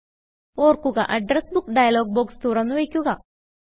ഓർക്കുക address book dialog box തുറന്ന് വയ്ക്കുക